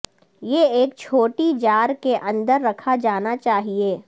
یہ ایک چھوٹی جار کے اندر رکھا جانا چاہئے